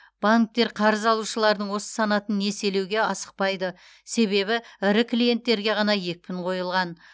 банктер қарыз алушылардың осы санатын несиелеуге асықпайды себебі ірі клиенттерге ғана екпін қойылған